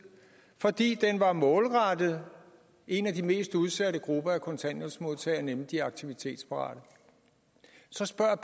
fordi den var målrettet en af de mest udsatte grupper af kontanthjælpsmodtagere nemlig de aktivitetsparate så spørger